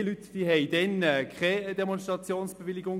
Die Leute hatten keine Demonstrationsbewilligung.